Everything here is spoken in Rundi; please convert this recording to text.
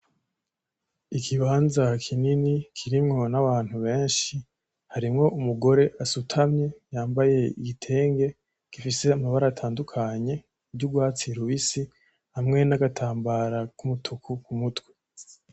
ikibanza kinini kirimwo n'abantu benshi harimwo umugore asutamye yambaye igitenge gifise amabara atandukanye ry'ugwatsi rubisi hamwe n'agatambara kumutuku kumutwe.